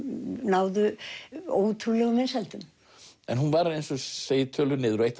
náðu ótrúlegum vinsældum en hún var eins og þú segir töluð niður og eitt